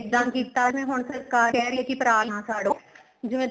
ਇੱਦਾਂ ਕੀਤਾ ਜਿਵੇਂ ਹੁਣ ਸਰਕਾਰ ਕਹਿ ਰਹੀ ਏ ਪਰਾਲੀ ਨਾ ਸਾੜੋ ਜਿਵੇਂ